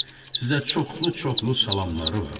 Sizə çoxlu-çoxlu salamları var.